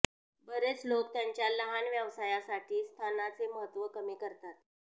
बरेच लोक त्यांच्या लहान व्यवसायासाठी स्थानाचे महत्त्व कमी करतात